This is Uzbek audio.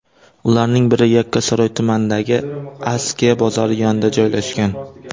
Ularning biri Yakkasaroy tumanidagi Askiya bozori yonida joylashgan.